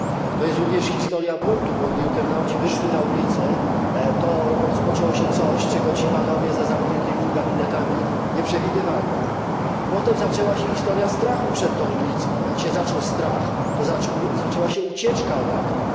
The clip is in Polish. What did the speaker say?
To jest również historia buntu, bo gdy internauci wyszli na ulice, to rozpoczęło się coś, czego ci panowie za zamkniętymi gabinetami nie przewidywali. I potem zaczęła się historia strachu przed tą ulicą, a jak się zaczął strach, to zaczęła się ucieczka od ACTA.